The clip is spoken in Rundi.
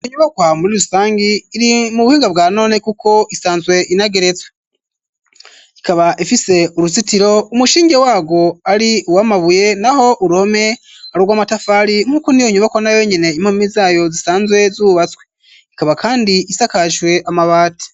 Iyo nyubakwa muri rusangi iri mu buhinga bwa none kuko isanzwe inageretswe, ikaba ifise uruzitiro umushinge wa rwo ari uwamabuye naho uruhome arrw'amatafari nk'uko ni yo nyuboko na wenyine impumi zayo zisanzwe zubatswe, ikaba kandi isakaswe amabati.